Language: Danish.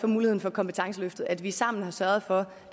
muligheden for kompetenceløftet altså at vi sammen har sørget for